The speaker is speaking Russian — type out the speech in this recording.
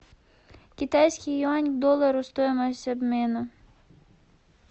китайский юань к доллару стоимость обмена